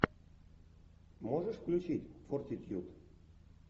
можешь включить фортитьюд